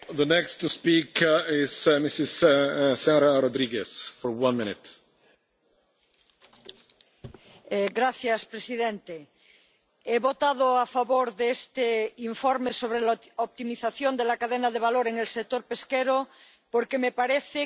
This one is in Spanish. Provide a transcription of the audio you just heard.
Señor presidente, he votado a favor de este informe sobre la optimización de la cadena de valor en el sector pesquero porque me parece que avanza en el reconocimiento de la importancia